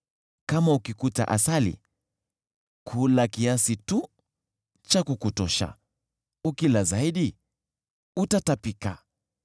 Ukipata asali, kula kiasi tu cha kukutosha, ukila zaidi, utatapika.